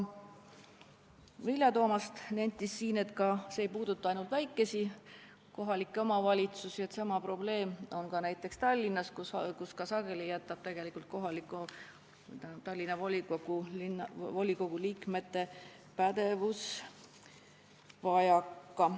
Vilja Toomast nentis, et see ei puuduta ainult väikesi kohalikke omavalitsusi, sama probleem on näiteks Tallinnas, kus ka sageli jääb volikogu liikmetel pädevusest vajaka.